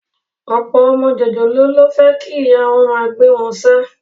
Ọ̀pọ̀ ọmọ jòjòló ló fẹ́ kí ìyá wọn máa gbé wọn ṣáá